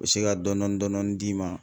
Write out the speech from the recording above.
U bɛ se ka dɔni dɔni dɔni dɔɔni d'i ma.